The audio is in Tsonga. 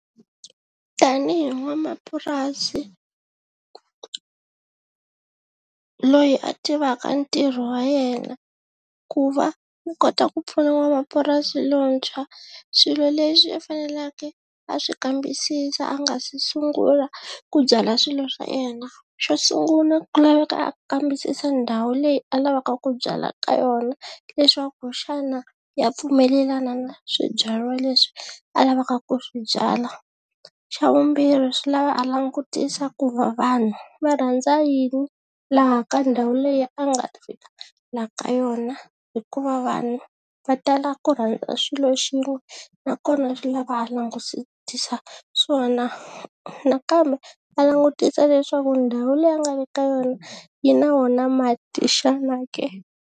Tanihi n'wanamapurasi loyi a tivaka ntirho wa yena ku va u kota ku pfuna n'wamapurasi lontshwa swilo leswi a fanelake a swi kambisisa a nga si sungula ku byala swilo swa yena, xo sungula ku laveka a kambisisa ndhawu leyi a lavaka ku byala ka yona leswaku xana ya pfumelelana na swibyariwa leswi a lavaka ku swi byala xa vumbirhi swi lava a langutisa ku va vanhu va rhandza yini laha ka ndhawu leyi a nga ta fikela ka yona hikuva vanhu va tala ku rhandza swilo xin'we nakona swi lava a langusitisa swona nakambe a langutisa leswaku ndhawu leyi a nga le ka yona yi na wona mati xana ke.